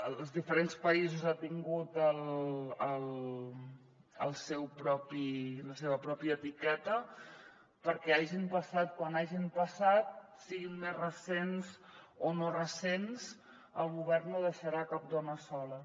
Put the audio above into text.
als diferents països ha tingut la seva pròpia etiqueta perquè hagin passat quan hagin passat siguin més recents o no recents el govern no deixarà cap dona sola